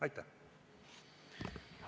Aitäh!